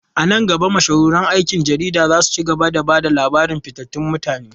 A nan gaba, mashahuran aikin jarida za su ci gaba da ba da labaran fitattun mutane.